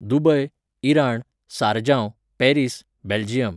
Dubai, Iran, सारजांव, Paris, Belgium